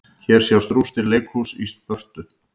Hér sjást rústir leikhúss í Spörtu.